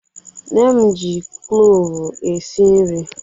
Nne m ji klovu esi nri